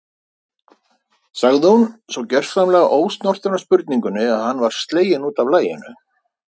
sagði hún, svo gersamlega ósnortin af spurningunni að hann var sleginn út af laginu.